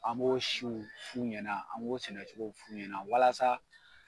An b'o siw f'u ɲɛna, an b'o sɛnɛcogow f'u ɲɛna walasa